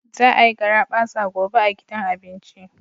Za a yi garabasa gobe a gidan abinci.